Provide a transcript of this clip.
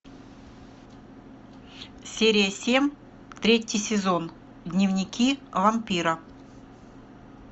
серия семь третий сезон дневники вампира